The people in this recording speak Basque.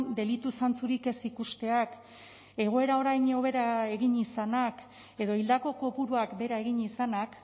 delitu zantzurik ez ikusteak egoera orain hobera egin izanak edo hildako kopuruak behera egin izanak